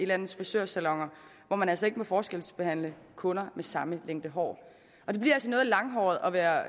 landets frisørsaloner hvor man altså ikke må forskelsbehandle kunder med samme længde hår det bliver altså noget langhåret at være